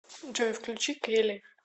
джой включи кели